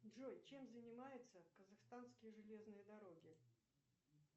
джой чем занимаются казахстанские железные дороги